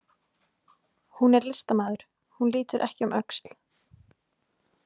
Hún er listamaður, hún lítur ekki um öxl.